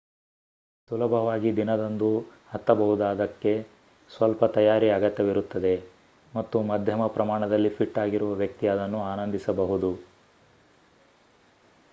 ಸುಲಭವಾಗಿ ದಿನದಂದು ಹತ್ತಬಹುದಾದ್ದಕ್ಕೆ ಸ್ವಲ್ಪ ತಯಾರಿ ಅಗತ್ಯವಿರುತ್ತದೆ ಮತ್ತು ಮಧ್ಯಮ ಪ್ರಮಾಣದಲ್ಲಿ ಫಿಟ್ ಆಗಿರುವ ವ್ಯಕ್ತಿ ಅದನ್ನು ಆನಂದಿಸಬಹುದು